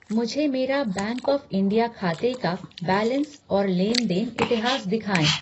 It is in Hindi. मुझे मेरा बैंक ऑफ़ इंडिया खाते का बैलेंस और लेन देन इतिहास दिखाएँ।